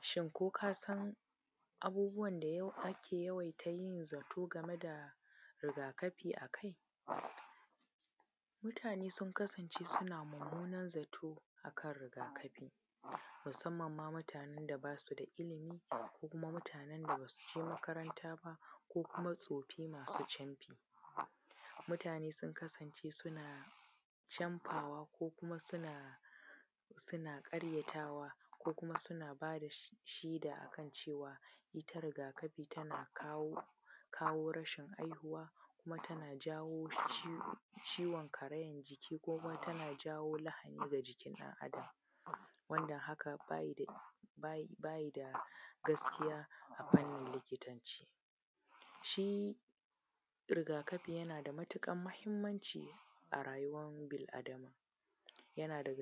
Shin kokasan abubuwan da yau ake yawaiya yi game da rigakafi akai Mutane sunkasance suna mummunar zato akan rigakafi musammanma mutanen da basuda ilimi ko mutanen da basuje makaranta ba ko kuma tsofi masu camfi. Mutane sun kasance suna camfawa ko kuma sunna ƙaryatawa, kuma suna bada shaida akan cewa itta rigakafi tana kawo rashin haihuwa, kuma tana jawo ciwon karayan jiki, kuma tana jawo lahani a jikin ɗan adam, wanda hakan ba gaskiya bane a likitance. Shi rigakafi yana da matuƙar mahimmanci arayuwan bil adama, tana da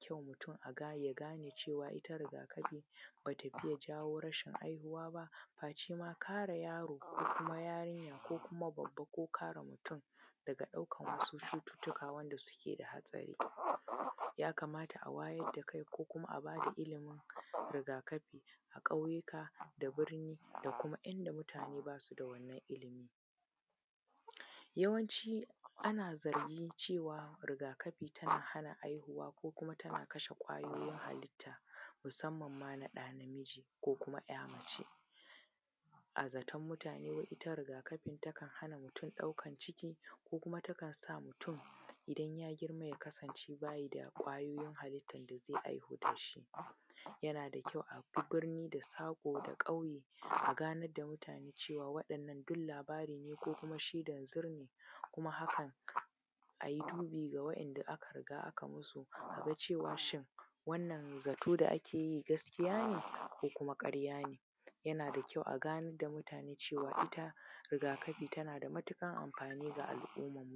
kyau mutun ya gane cewa itta rigakafi ba itta take jawo rashin haihuwa ba facema kare yaro, ko yarinya ko kuma babba ko kare mutun daga ɗaukan wasu cututtuka wanda suke da hatsari. Yakamata a wayar da illimin al’umma bada ilimin rigakafi a kauyuka da birni da kuma inda muatne basuda wannan ilimi. Yawanci ana zargi cewa rigakafi tana hana haihuwa ko kuma tana kasha kwayoyin halitta, musamman ma naɗa namiji ko kuma ‘ya’ mace. A zaton mutane itta rigakafi takan hana mutun ɗaukan ciki ko kuma takansa mutun inya girma kasance bayida kwarin halittan dazai aiki dashi. Yanada kyau abi birni da saƙo da kauyuka a ganar da mutane cewan waɗannan duk labara ne na shaidanzur ne kuma haka ayi dubi da wanda aka riga akai musa cewa wannan zato gaskiya ne ko kuma ƙarya ne? Yanada kyau a ganar da mutane cewa itta riga kafi tanada matuƙar amfani ga al’umma.